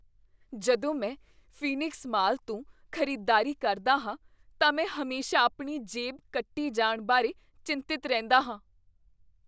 ਜਦੋਂ ਮੈਂ Phoenix mall ਤੋਂ ਖ਼ਰੀਦਦਾਰੀ ਕਰਦਾ ਹਾਂ ਤਾਂ ਮੈਂ ਹਮੇਸ਼ਾ ਆਪਣੀ ਜੇਬ ਕੱਟੀ ਜਾਣ ਬਾਰੇ ਚਿੰਤਤ ਰਹਿੰਦਾ ਹਾਂ।